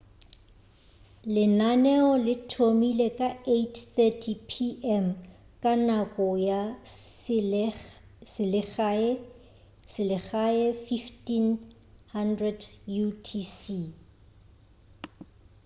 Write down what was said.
lenaneo le thomile ka 8:30 p.m ka nako ya selegae 15.00 utc